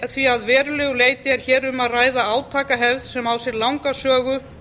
því að verulegu leyti er hér um að ræða átakahefð sem á sér langa sögu